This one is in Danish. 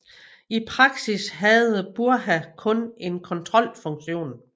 I praksis havde Brugha kun en kontrolfunktion